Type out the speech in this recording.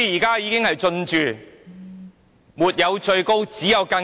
地價沒有最高，只有更高。